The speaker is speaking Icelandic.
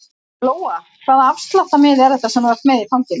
Lóa: Hvaða afsláttarmiði er þetta sem þú ert með í fanginu?